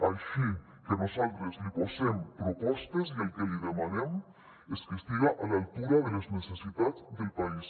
així que nosaltres li posem propostes i el que li demanem és que estiga a l’altura de les necessitats del país